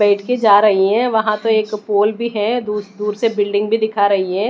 बैठ के जा रही है वहां पे एक पोल भी है दू दूर से बिल्डिंग भी दिखा रही है।